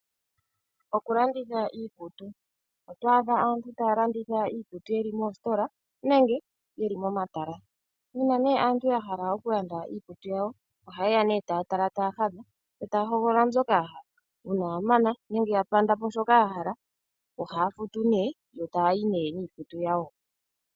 Okulanditha iikutu. Otwaadha aantu taya landitha iikutu yeli moositola nenge yeli momatala. Uuna nee aantu yahala okulanda iikutu yawo ohayeya nee taya tala taya hadha etaya hogolola mbyoka ya hala. Uuna ya mana nenge ya panda po shoka ya yahala ohaya futu nee yo taya yi nee niikutu yawo.